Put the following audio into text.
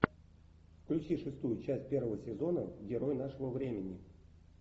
включи шестую часть первого сезона герой нашего времени